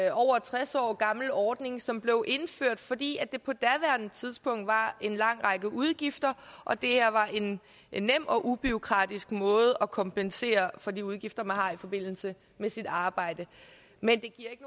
en over tres år gammel ordning som blev indført fordi der på daværende tidspunkt var en lang række udgifter og det her var en en nem og ubureaukratisk måde at kompensere for de udgifter man har i forbindelse med sit arbejde men det